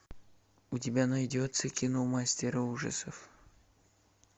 у тебя найдется кино мастера ужасов